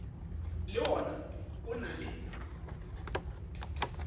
le wona o na le